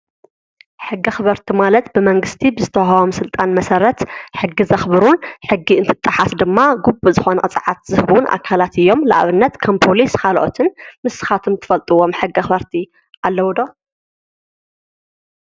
ሕጊ ኣክበርቲ ማለት ብመንግስቲ ብዝተወሃቦም ስልጣን መሰረት ሕጊ ዘክብሩን ሕጊ እንትጣሓስ ድማ ግቡእ ዝኮነ ቅፅዓት ዝህቡን ኣካላት እዮም፡፡ ንኣብነት ከም ፖሊስ ካልኦትን። ንስካትኩም እትፈልጥዎም ሕጊ ኣክበርቲ ኣለዉ ዶ?